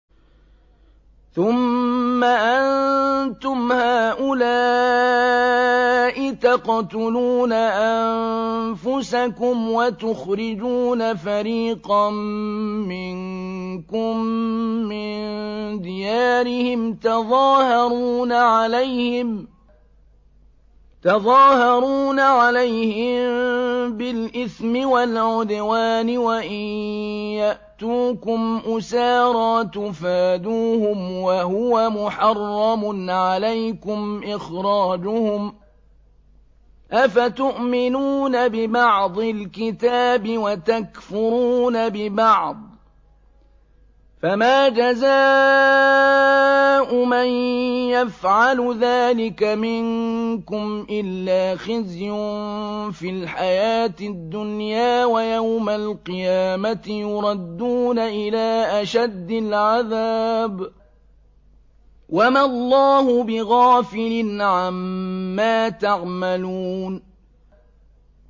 ثُمَّ أَنتُمْ هَٰؤُلَاءِ تَقْتُلُونَ أَنفُسَكُمْ وَتُخْرِجُونَ فَرِيقًا مِّنكُم مِّن دِيَارِهِمْ تَظَاهَرُونَ عَلَيْهِم بِالْإِثْمِ وَالْعُدْوَانِ وَإِن يَأْتُوكُمْ أُسَارَىٰ تُفَادُوهُمْ وَهُوَ مُحَرَّمٌ عَلَيْكُمْ إِخْرَاجُهُمْ ۚ أَفَتُؤْمِنُونَ بِبَعْضِ الْكِتَابِ وَتَكْفُرُونَ بِبَعْضٍ ۚ فَمَا جَزَاءُ مَن يَفْعَلُ ذَٰلِكَ مِنكُمْ إِلَّا خِزْيٌ فِي الْحَيَاةِ الدُّنْيَا ۖ وَيَوْمَ الْقِيَامَةِ يُرَدُّونَ إِلَىٰ أَشَدِّ الْعَذَابِ ۗ وَمَا اللَّهُ بِغَافِلٍ عَمَّا تَعْمَلُونَ